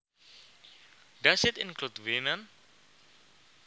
Does it include women